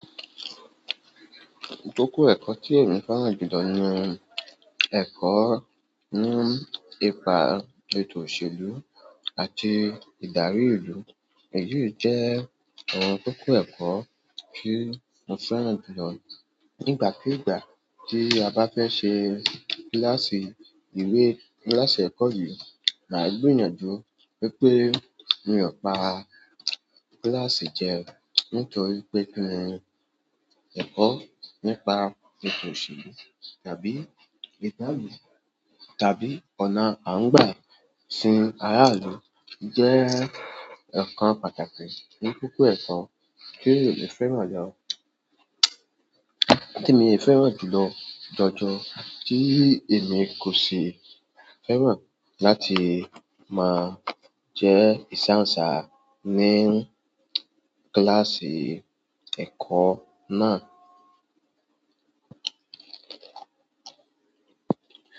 Ìkókó ẹ̀kọ́ tí ẹmi fẹ́ràn jùlọ ni ẹ̀kọ́ ní ipa ètò òṣèlú àti ìdarí ìlú. Èyí jẹ́ àwọn kókó ẹ̀kọ́ tí mo fẹ́ràn jùlọ. Nígbàkúùgbà tí a bá fẹ́ ṣe kíláàsì ìwé, kíláàsì ẹ̀kọ́ yìí máa gbìyànjú wípé mi ọ̀pá kíláàsì jẹ, nítorí pé kí ní ẹ̀kọ́ nípa ètò òṣèlú tàbí ìdálù tàbí ọ̀nà à ń gbà sin ará ìlú jẹ́ ọ̀kan pàtàkì ní kókó ẹ̀kọ́ tí èmi fẹ́ràn lọ. Tí mo fẹ́ràn jùlọ jọjọ tí èmi kò ṣì fẹ́ràn láti máa jẹ́ ìsàǹsá ní kíláàsì ẹ̀kọ́ náà.